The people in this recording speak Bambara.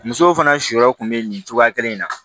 Musow fana sɔyɔrɔ tun bɛ nin cogoya kelen in na